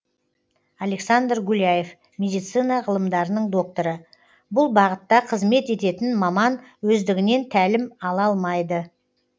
александр гуляев медицина ғылымдарының докторы бұл бағытта қызмет ететін маман өздігінен тәлім ала алмайды